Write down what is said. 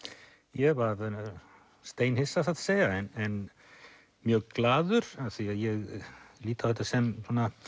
ég varð steinhissa satt að segja en mjög glaður af því ég lít á þetta sem